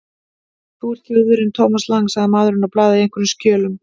Þú ert Þjóðverjinn Thomas Lang sagði maðurinn og blaðaði í einhverjum skjölum.